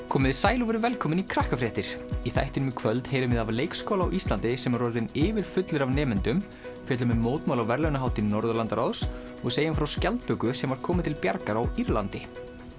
komiði sæl og verið velkomin í Krakkafréttir í þættinum í kvöld heyrum við af leikskóla á Íslandi sem er orðinn yfirfullur af nemendum fjöllum um mótmæli á verðlaunahátíð Norðurlandaráðs og segjum frá skjaldböku sem var komið til bjargar á Írlandi